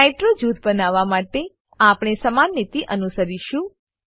nitro જૂથ બનાવવા માટે આપણે સમાન નીતિ અનુસરીશું